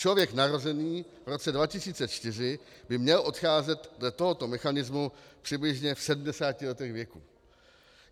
Člověk narozený v roce 2004 by měl odcházet dle tohoto mechanismu přibližně v 70 letech věku.